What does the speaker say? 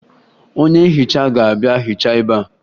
Onye nhicha ga-abịa hichaa ebea